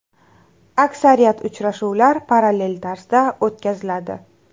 Aksariyat uchrashuvlar parallel tarzda o‘tkaziladi.